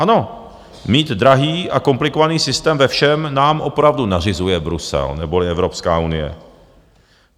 Ano, mít drahý a komplikovaný systém ve všem nám opravdu nařizuje Brusel, neboli Evropská unie.